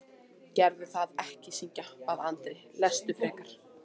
Gerðu það ekki syngja, bað Andri, lestu frekar.